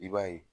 I b'a ye